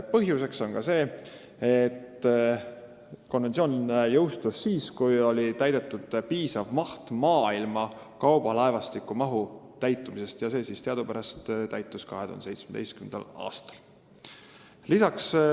Põhjus on ka see, et konventsioon jõustus siis, kui oli täidetud piisav maht maailma kaubalaevastiku mahu täitumisest – teadupärast oli see 2017. aastal.